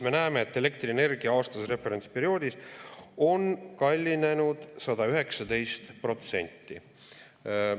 Me näeme, et elektrienergia aastases referentsperioodis on kallinenud 119%.